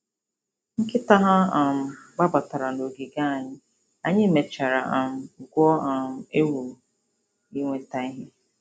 Nkịta ha um gbabatara n'ogige anyị, anyị mechara um gwuo um egwu iweta ihe.